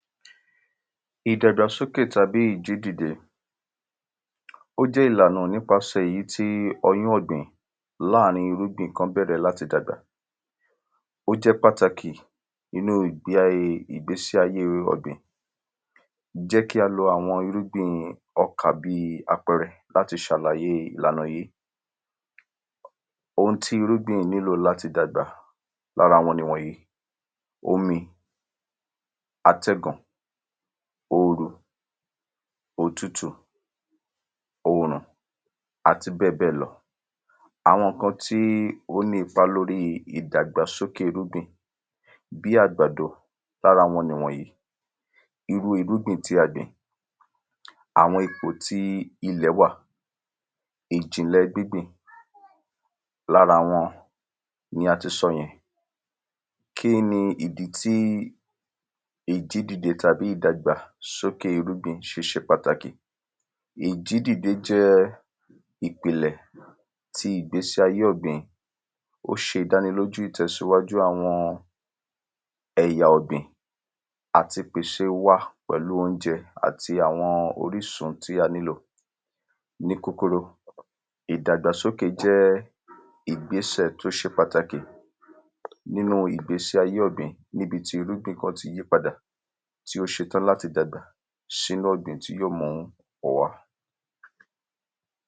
ìdàgbà sókè tàbí ìjídìde, ó jẹ́ ìlànà nípasẹ̀ èyí tí ọyún ọ̀gbìn lárìn-in ìrúgbìn kan bẹ̀rẹ̀ láti dàgbà, ó jẹ́ pàtàkì nínu ìgbé ayé, ìgbésí ayé ọ̀gbìn, jẹ́ kí á lo ìrúgbìn ọkà bíi àpẹrẹ láti sàlàyé ìlànà yí, oun tí ìrúgbìn nílò láti dàgbà lára wọn ni wọ̀nyí omi, àtẹ́gùn, òrùn, òtútù, òrùn àti bẹ́ẹ̀bẹ́ẹ̀ lọ àwọn ǹkan tí ó ní ipa lóri ìdàgbà sókè ìrúgbin bí àgbàdo, lára wọn ni wọ̀nyí irúu ìrúgbìn tí a gbìn, àwọn ipò tí ilẹ̀ wáà, ìjìnlẹ̀ gbíngbìn, lára wọn ni a ti sọ yẹn kí ni ìdí tí ìjídìde tàbí ìdàgbà sókè se sẹ pàtàkì, ìjídìde jẹ́ ìpìnlẹ̀ ti ìgbésí ayé ọ̀gbìn ó se ìdánilójú ìtẹ̀síwájú àwọn ẹ̀yà ọ̀gbìn àti pèse wa pẹ̀lú óúnjẹ àti àwọn orísun tí a nílò ní kúkúrú, ìdàgbà sókè jẹ́ ìgbésè tó se pàtàkì nínu ìgbésí ayé ọ̀gbìn níbití ìrúgbìn kan ti yí padà tí ó se tán láti dàgbà sínu ọ̀gbìn tí ó mú ọ̀pọ̀ wá